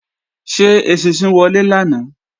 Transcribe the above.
Ṣé eṣinṣin wọlé lánàá?